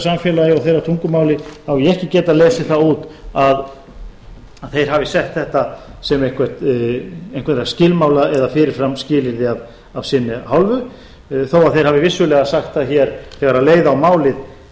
samfélagi og þeirra tungumáli hef ég ekki getað lesið það út að þeir hafi sett þetta sem einhverja skilmála eða fyrirframskilyrði af sinni hálfu þó að þeir hafi vissulega sagt það hér þegar leið á málið